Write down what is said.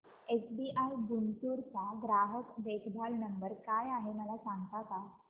SBI Guntur चा ग्राहक देखभाल नंबर काय आहे मला सांगता का